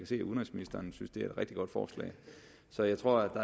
se at udenrigsministeren synes det er et rigtig godt forslag så jeg tror